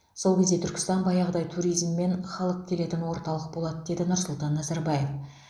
сол кезде түркістан баяғыдай туризм мен халық келетін орталық болады деді нұрсұлтан назарбаев